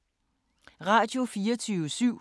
Radio24syv